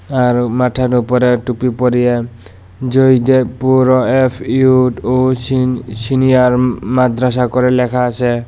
আর মাঠের উপরে টুপি পরিয়ে জয়দেবপুর ও এফ ইউড ও সিনি সিনিয়র মাদ্রাসা করে ল্যাখা আসে।